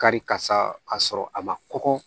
Kari kasa ka sɔrɔ a ma kɔkɔ